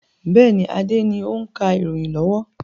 Bẹ́ẹ̀ni, Adé ni o ń ka ìròyìn lọ́wọ́.